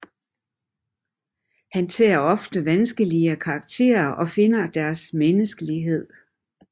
Han tager ofte vanskeligt karakterer og finder deres menneskelighed